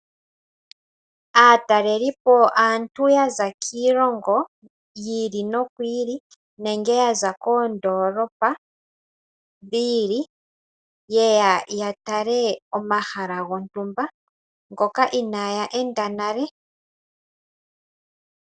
Aatalelipo aantu yaza kiilongo yi ili nokwii li, nenge ya za koondoolopa dhi ili, ye ya ya tale omahala gontumba, ngoka ina ya enda nale.